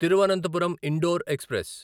Thiruvananthapuram Indore express